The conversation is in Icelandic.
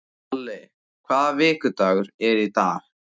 Alli, hvaða vikudagur er í dag?